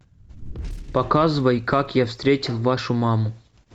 показывай как я встретил вашу маму